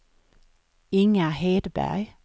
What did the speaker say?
Inga Hedberg